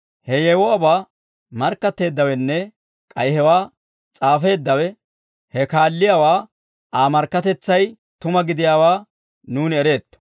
He yewuwaabaa markkatteeddawenne k'ay hewaa s'aafeeddawe he kaalliyaawaa Aa markkatetsay tuma gidiyaawaa nuuni ereetto.